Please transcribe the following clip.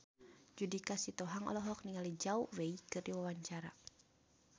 Judika Sitohang olohok ningali Zhao Wei keur diwawancara